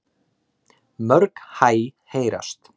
Mörg hæ heyrast.